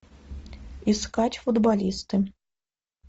искать футболиста